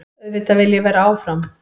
Auðvitað vil ég vera áfram.